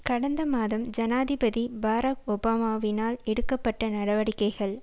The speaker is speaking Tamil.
கடந்த மாதம் ஜனாதிபதி பாரக் ஒபாமாவினால் எடுக்க பட்ட நடவடிக்கைகள்